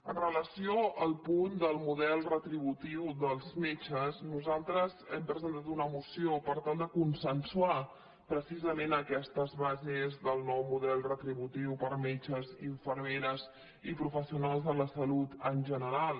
amb relació al punt del model retributiu dels metges nosaltres hem presentat una moció per tal de consen·suar precisament aquestes bases del nou model retri·butiu per a metges infermeres i professionals de la salut en general